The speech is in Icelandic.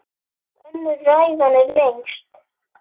Önnur ræðan er lengst.